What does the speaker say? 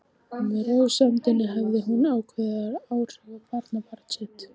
Með rósemdinni hafði hún jákvæð áhrif á barnabarn sitt.